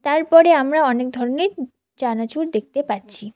তারপরে আমরা অনেক ধরনের চানাচুর দেখতে পাচ্ছি।